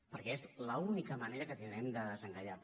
perquè és l’única manera que tindrem de desencallar ho